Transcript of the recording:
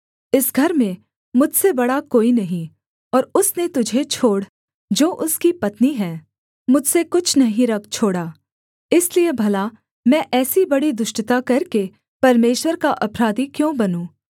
इस घर में मुझसे बड़ा कोई नहीं और उसने तुझे छोड़ जो उसकी पत्नी है मुझसे कुछ नहीं रख छोड़ा इसलिए भला मैं ऐसी बड़ी दुष्टता करके परमेश्वर का अपराधी क्यों बनूँ